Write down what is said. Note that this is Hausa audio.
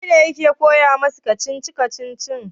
wanene yake koya musu kacici-kacicin?